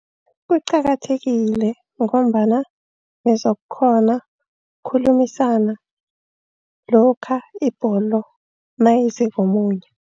Kuqakathekile ngombana nizokukghona ukukhulumisana, lokha ibholo nayize komunye.